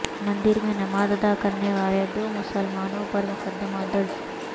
مندر میں نماز ادا کرنے والے دو مسلمانو ں پر مقدمہ درج